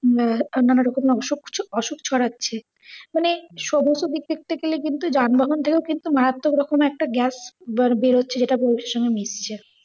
আহ নানা রকমের অশু~ অসুখ ছড়াচ্ছে। মানে সমস্ত দিক দেখতে গেলে কিন্তু যানবাহন থেকেও কিন্তু মারাত্তক রকমের একটা গ্যাস বেরুছে যেটা পরিবেশের সঙ্গে মিশছে।